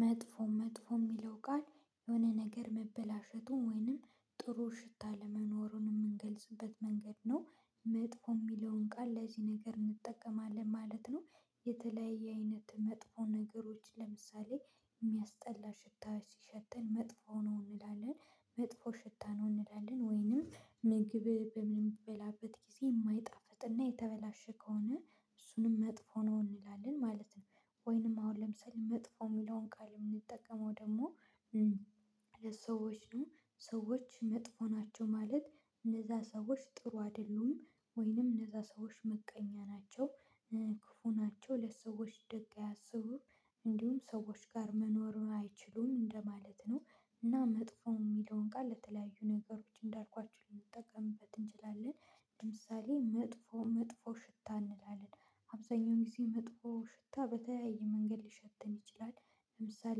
መጥፎ መጥፎ የሚለው ቃል የሆነ ነገር መበላሸቱን ወይንም ጥሩ ሽታ አለመኖሩን የምንገልጽበት መንገድ ነው መጥፎ የሚለውን ቃል ለዚህ ነገር እንጠቀማለን ማለት ነው። የተለያየ አይነት መጥፎ ነገሮች ለምሳሌ የሚያስጠላ ሽታዎች ሲሸተን መጥፎ ነው እንላለን መጥፎ ሽታ ነው እንላለን ወይንም ምግብህ በምንበላበት ጊዜ የማይጣፍጥና የተበላሸ ከሆነ እሱንም መጥፎ ነው እንላለን ማለት ነው። ወንም አሁን ለምሳሌ መጥፎ የሚለውን ቃል ምንጠቀመው ደግሞ ለሰዎችም ሰዎች መጥፎ ናቸው ማለት እነዛ ሰዎች ጥሩ አደሉም ወይንም እነዛ ሰዎች ምቀኛ ናቸው ክፉ ናቸው ለሰዎች ደግ አያስቡም እንዲሁም ሰዎች ጋር መኖር አይችሉም እንደማለት ነው። እና መጥፎ የሚለውን ቃል ለተለያዩ ነገሮች እንዳልኳችሁ ልንጠቀምበት እንችላለን ለምሳሌ መጥፎ መጥፎ ሽታ እንላለን አብዛኛው ጊዜ መጥፎ ሽታ በተለያየ መንገድ ሊሸተን ይችላል። ለምሳሌ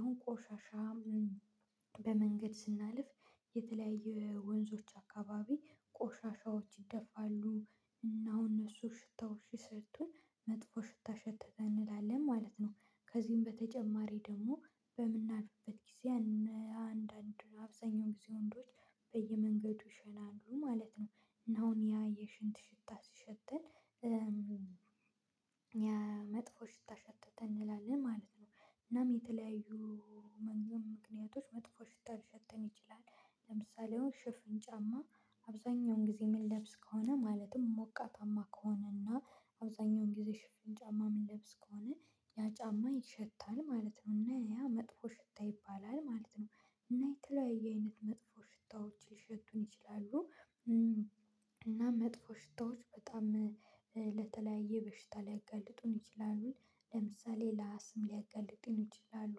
አሁን ቆሻሻ በመንገድ ስናልፍ የተለያየ ወንዞች አካባቢ ቆሻሻዎች ይደፋሉ እናም እነሱ ሽታዎች ሲሸቱን መጥፎ ሽታ ሸተተ እንላለን ማለት ነው። ከዚህም በተጨማሪ ደግሞ በምናልፍበት ጊዜ አነ አንዳንድ አብዛኛዎቹ ወንዶች በየምንገዱ ይሸናሉ ማለት ነው። አሁን ያ የሽንት ሽታ ሲሽተን መጥፎ ሽታ ሸተተን እንላለን ማለት ነው። እና በተለያዩ ሚክኒያቶች መጥፎ ሽታ ልሸተን ይችላል። ለምሳሌ ሽፍን ጫማ አብዛኛውን ጊዜ የምንለብስ ከሆነ ማለትም ሞቃታማ ከሆነና አብዛኛውን ጊዜ ሽፍን ጫማ የምንለብስ ከሆነ ያ ጫማ ይሸታል ማለት ነው እና ያ መጥፎ ሽታ ይባላል ማለት ነው። እና የተለያየ አይነት መጥፎ ሽታዎች ሊሸቱን ይችላሉ። እና መጥፎ ሽታዎች በጣም ለተለያየ በሽታ ሊያጋልጡን ይችላሉ ለምሳሌ ለአስም ሊያጋልጥን ይችላሉ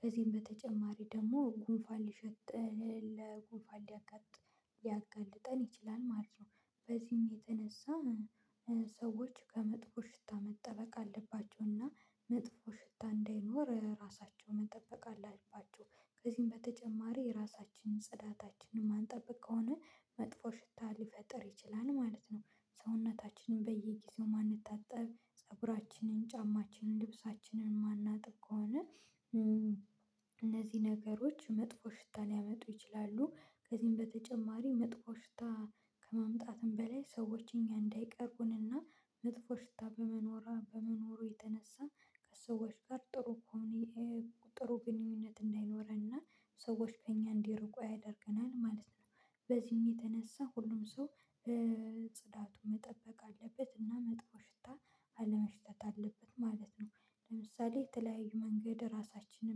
ከዚህም በተጨማሪ ደግሞ ጉንፋን ሊሸተ ለጉንፋን ሊያጋጥ ሊያጋልጥን ይችላል ማለት ነው። በዚህም የተነሳ ሰዎች ከመጥፎ ሽታ መጠበቅ አለባቸውና መጥፎ ሽታ እንዳይኖር ራሳቸውን መጠበቅ አላቸው ከዚህም በተጨማሪ ራሳችንን ጽዳታችንን ማንጠብቅ ከሆነ መጥፎ ሽታ ሊፈጥር ይችላል ማለት ነው። ሰውነታችንን በየጊዜው የማንታጠብ ፀጉራችንን ጫማችንን ልብሳችንን የማናጥብ ከሆነ እነዚህ ነገሮች መጥፎ ሽታ ሊያመጡ ይችላሉ። ከዚህም በተጨማሪ መጥፎ ሽታ ከማምጣትም በላይ ሰዎች እኛ እንዳይቀርቡንና መጥፎ ሽታ በመኖራ በመኖሩ የተነሳ ከሰዎች ጋር ጥሩ የሆነ የተ ጥሩ ግንኙነት እንዳይኖረንና ሰዎች ከእኛ እንዲርቁ ያደርገናል ማለት ነው። በዚህም የተነሳ ሁሉም ሰው በ ጽዳቱን መጠበቅ አለበት እና መጥፎ ሽታ አለመሽተት አለብን ማለት ነው ለምሳሌ በተለያየ መንገድ ራሳችን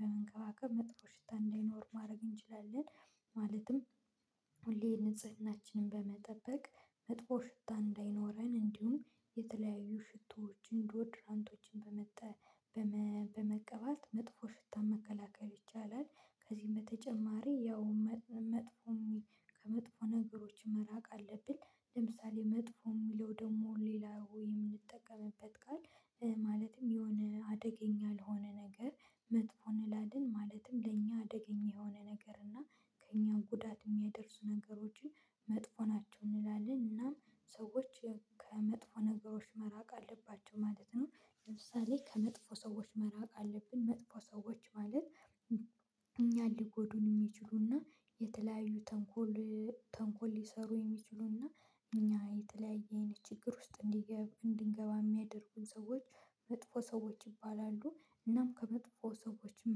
በመንከባከብ መጥፎ ሽታ እንዳይኖር ማድረግ እንችላለን። ሁሌ ንጽህናችንን በመጠበቅ መጥፎ ሽታ እንዳይኖረን እንዲሁም የተለያዩ ሽቶዎችን ዶድራንቶችን በመጠ በመ በመቀባት መጥፎ ሽታ መከላከል ይቻላል። ከዚህም በተጨማሪ ያው መጥ መጥፎ ከመጥፎ ነገሮች መራቅ አለብን። ለምሳሌ መጥፎ የሚለው ደግሞ ሌላ ወይ የምንጠቀምበት ቃል ማለትም የሆነ አደገኛ ያልሆነ ነገር መጥፎ እንላለን ማለትም ለእኛ አደገኛ የሆነ ነገር እና ከእኛ ጉዳት የሚያደርሱ ነገሮችን መጥፎ ናቸው እንላለን እናም ሰዎች ከመጥፎ ነገሮች መራቅ አለባቸው ማለት ነው። ለምሳሌ ከመጥፎ ሰዎች መራቅ አለብን መጥፎ ሰዎች ማለት እኛን ሊጎዱን የሚችሉና የተለያዩ ተንኮል ተንኮል ሊሰሩ የሚችሉና እኛ የተለያየ አይነት ችግር ውስጥ እንዲገባ እንዲገባ የሚያደርጉን ሰዎች መጥፎ ሰዎች ይባላሉ እናም ከመጥፎ ሰዎችም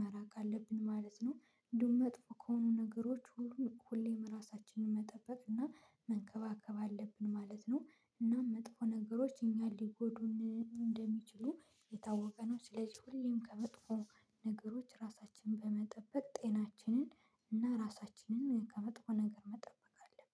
መራቅ አለብን ማለት ነው። እንዲሁም መጥፎ ከሆኑ ነገሮች ሁሉን ሁሌም ራሳችንን መጠበቅ እና መንከባከብ አለብን ማለት ነው። እናም መጥፎ ነገሮች እኛን ሊጎዱን እንደሚችሉ የታወቀ ነው። ስለዚህ ሁሌም ከመጥፎ ነገሮች ራሳችንን በመጠበቅ ጤናችንን እና ራሳችንን ከመጥፎ ነገር መጠበቅ አለብን።